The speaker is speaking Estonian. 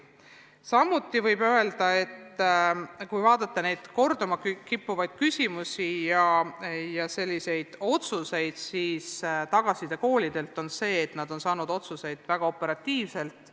Samuti võib öelda, et kui vaadata korduma kippuvaid küsimusi ja tehtud otsuseid, siis koolidelt saadud tagasiside on olnud selline, et nad on saanud otsuseid teha väga operatiivselt.